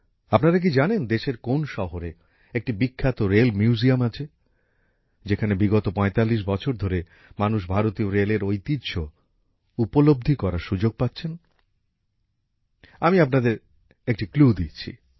আপনারা কি জানেন দেশের কোন শহরে একটি বিখ্যাত রেল মিউজিয়াম আছে যেখানে বিগত ৪৫ বছর ধরে মানুষ ভারতীয় রেলের ঐতিহ্য উপলব্ধি করার সুযোগ পাচ্ছেন আমি আপনাদের একটি ক্লু দিচ্ছি